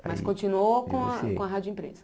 Mas continuou com a com a rádio empresa?